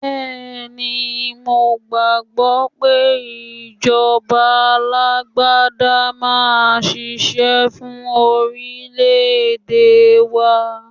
Bẹ́ẹ̀ ni, mo gbàgbọ́ pé ìjọba alágbádá máa ṣiṣẹ́ fún orílè-èdè wa.